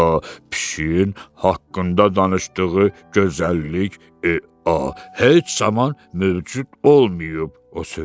A pişiyin haqqında danışdığı gözəllik heç zaman mövcud olmayıb, o söylədi.